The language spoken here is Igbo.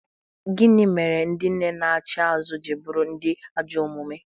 Gịnị mere ndị nne na-achị azụ ji bụrụ ndị ajọ omume?